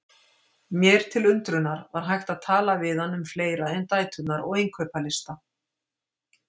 Mér til undrunar var hægt að tala við hann um fleira en dæturnar og innkaupalista.